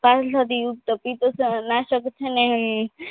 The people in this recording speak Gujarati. યુક્ત પિતજ નાસક છેને